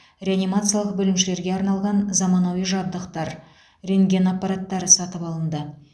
реанимациялық бөлімшелерге арналған заманауи жабдықтар рентген аппараттары сатып алынды